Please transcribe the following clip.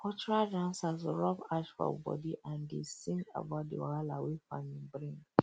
cultural dancers rub ash for body and dey sing about the wahala wey farming bring um